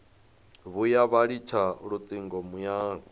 vhuya vha litsha lutingo muyani